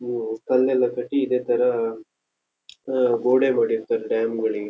ಇವೂ ಕಲ್ಲೆಲ್ಲ ಕಟ್ಟಿ ಇದೇತರ ಗೋಡೆ ಮಾಡಿತ್ತಾರೆ ಡ್ಯಾಮ್ ಗಳಿಗೆ --